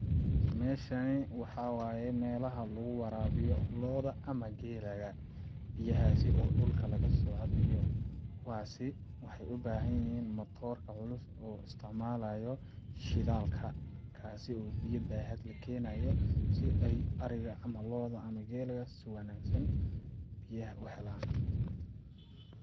Meshani waxaa waaye meelaha lagu waraabiyo looda ama geelaga ,biyahaasi oo dhulka lagasoo cabayo ,kuwaasi waxeey u bahan yihiin matroorka culus oo isticmalaayo shidaalka kaasi oo biya baaxad leh keenayo si ay ariga ama looda ama geelaga si wanaagsan biyaha u helaan.